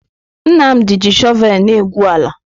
Nnamdi ji shọvel na-egwu ala.